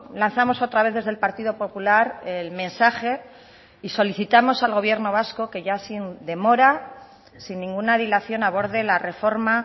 lanzamos otra vez desde el partido popular el mensaje y solicitamos al gobierno vasco que ya sin demora sin ninguna dilación aborde la reforma